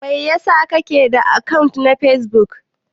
Mai ya sa kake da akant na Facebook?